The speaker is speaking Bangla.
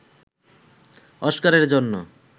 অস্কারের জন্য